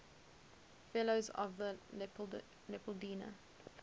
fellows of the leopoldina